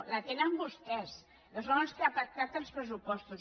la tenen vostès que són els que han pactat els pressupostos